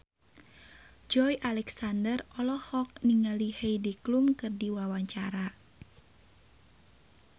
Joey Alexander olohok ningali Heidi Klum keur diwawancara